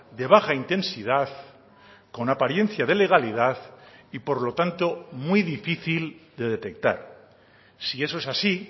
de baja intensidad con apariencia de legalidad y por lo tanto muy difícil de detectar sí eso es así